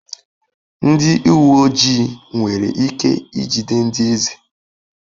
Ndị uwe ojii nwere ike ijide ndị eze?